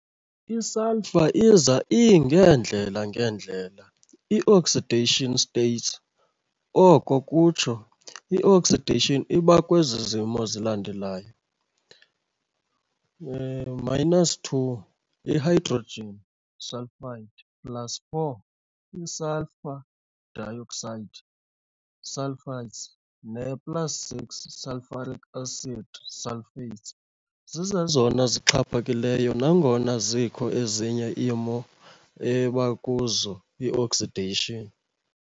I-Sulphur iza ingeendlela ngeendlela- i-oxidation states oko kutsho i-oxidation iba kwezi zimo zilandelayo- -2, i-hydrogen sulfide, plus4, i-sulfur dioxide, sulfites, ne plus6, sulfuric acid, sulfates, zizezona zixhaphakaileyo, nangona zikho ezinye imo ebakuzo i-oxidation.